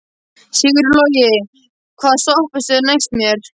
Sigurlogi, hvaða stoppistöð er næst mér?